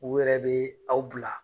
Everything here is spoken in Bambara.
U yɛrɛ bɛe aw bila